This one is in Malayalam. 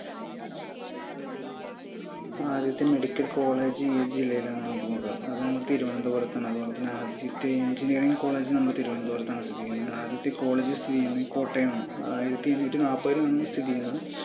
ആദ്യത്തെ medical collage ഏത് ജില്ലയിൽ ആണെന്ന് നോക്കം അത് നമ്മുടെ തിരുവന്തപുരത്ത് ആണ് അതുപോലെത്തന്നെ ആദ്യത്തെ engineering collage നമ്മുടെ തിരുവന്തപുരത്താണ് സ്ഥിതി ചെയ്യുന്നത് ആദ്യത്തെ college സ്ഥിതി ചെയ്യുന്നത് കോട്ടയം ആണ് ആയിരത്തി എണ്ണൂറ്റി നാൽപ്പതിൽ ആണ് സ്ഥിതി ചെയ്യുന്നത്